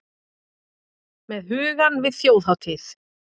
Með hugann við Þjóðhátíð?